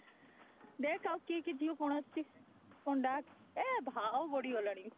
ଦେଖ ଆଉ କିଏ କିଏ ଝିଅ କଣ ଆସିଚି କଣ ଡାକ ଏ ଭାଉ ବଢିଗଲାଣି